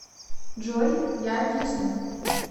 джой я объясню